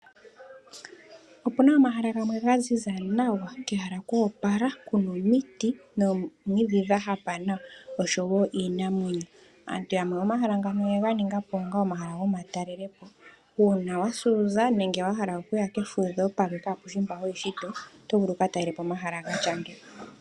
Opuna omahala gamwe ga ziza nawa, kehala kwa opala, kuna omiti noomwiidhi dha hapa nawa oshowo iinamwenyo. Aantu yamwe momahala ngano oye ga ningapo onga omahala gomatalelepo. Uuna wasa uuza nenge wa hala okuya kefudho palqe kapeshi mpa ho yi shito, oto vulu wu ka talelepo omahala gatya ngeyi.